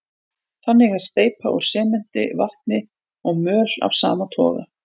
Þannig er steypa úr sementi, vatni og möl af sama toga.